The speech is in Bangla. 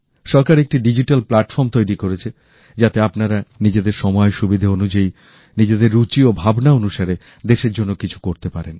সরকার একটি ডিজিটাল প্লাটফর্ম তৈরি করেছে যাতে আপনারা নিজেদের সময় সুবিধা অনুযায়ী নিজের রুচি ও ভাবনা অনুসারে দেশের জন্য কিছু করতে পারেন